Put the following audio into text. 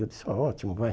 Eu disse, está ótimo, vai.